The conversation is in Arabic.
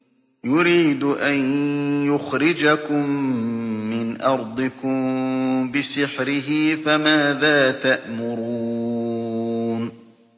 يُرِيدُ أَن يُخْرِجَكُم مِّنْ أَرْضِكُم بِسِحْرِهِ فَمَاذَا تَأْمُرُونَ